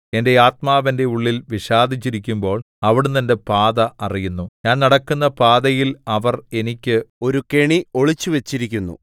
എന്റെ ആത്മാവ് എന്റെ ഉള്ളിൽ വിഷാദിച്ചിരിക്കുമ്പോൾ അവിടുന്ന് എന്റെ പാത അറിയുന്നു ഞാൻ നടക്കുന്ന പാതയിൽ അവർ എനിക്ക് ഒരു കെണി ഒളിച്ചുവച്ചിരിക്കുന്നു